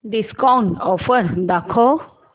discount offer दाखव